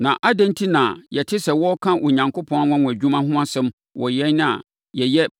Na adɛn enti na yɛte sɛ wɔreka Onyankopɔn anwanwadwuma ho asɛm wɔ yɛn a yɛyɛ